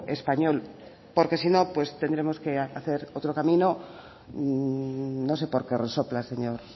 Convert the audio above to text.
español porque si no pues tendremos que hacer otro camino no sé por qué resopla señor